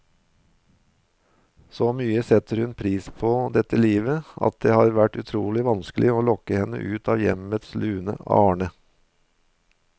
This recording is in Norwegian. Så mye setter hun pris på dette livet, at det har vært utrolig vanskelig å lokke henne ut av hjemmets lune arne.